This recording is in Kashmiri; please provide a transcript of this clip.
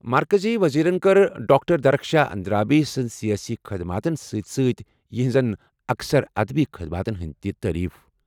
مرکزی وزیرن کٔر ڈاکٹر درخشان اندرابی سٕنٛدِ سیٲسی خدمتن سۭتۍ سۭتۍ یہنٛزن اکثر ادبی خدماتن ہٕنٛز تعریٖف۔